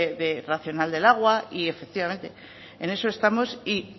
racional del agua y efectivamente en eso estamos y